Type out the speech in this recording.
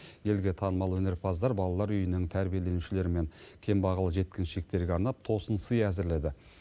елге танымал өнерпаздар балалар үйінің тәрбиеленушілері мен кембағал жеткіншектерге арнап тосын сый әзірледі